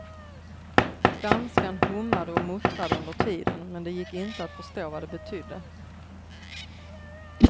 Danskan hummade och muttrade under tiden men det gick inte att förstå vad det betydde.